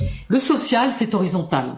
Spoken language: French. Le social, c'est horizontal